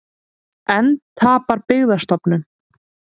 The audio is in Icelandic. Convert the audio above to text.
Enn tapar Byggðastofnun